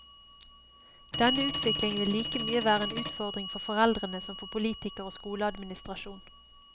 Denne utvikling vil like mye være en utfordring for foreldrene som for politikere og skoleadministrasjon.